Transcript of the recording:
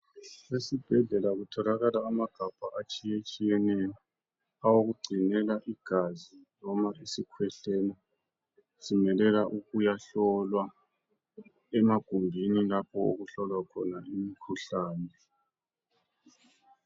Esibhedlela kutholakala amagabha atshiyatshiyeneyo awokugcinela igazi noma isikhwehlela simelela ukuyahlolwa emagumbini lapho okuhlolwa khona imikhuhlane.